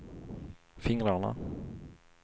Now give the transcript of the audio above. fingrarna